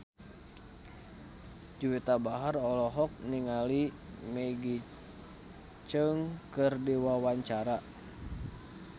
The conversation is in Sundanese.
Juwita Bahar olohok ningali Maggie Cheung keur diwawancara